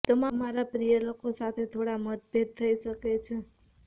તમારા પ્રિય લોકો સાથે થોડા મતભેદ થઈ શકે છે